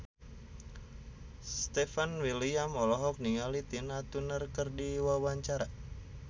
Stefan William olohok ningali Tina Turner keur diwawancara